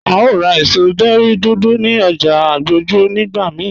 À o rá èṣọ̀ bẹ̀ri dúdú ní ọ̀jà Agboju nigbà míì